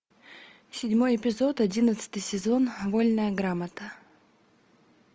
седьмой эпизод одиннадцатый сезон вольная грамота